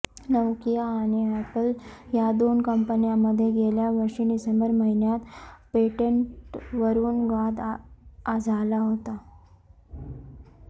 Nokia आणि Apple या दोन कंपन्यांमध्ये गेल्या वर्षी डिसेंबर महिन्यात पेटेंटवरून वाद झाला होता